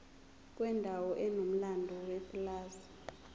kwendawo enomlando yepulazi